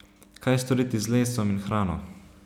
Kaj storiti z lesom in hrano.